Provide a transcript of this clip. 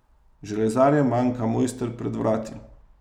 Železarjem manjka mojster pred vrati.